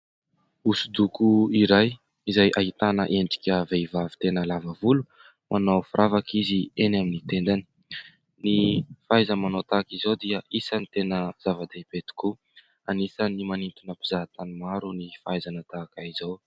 Hosodoko iray izay ahitana endrika vehivavy tena lava volo, manao firavaka izy eny amin'ny tendany. Ny fahaiza-manao tahaka izao dia isany tena zava-dehibe tokoa, anisany manintona mpizahatany maro ny fahaizana tahaka izao.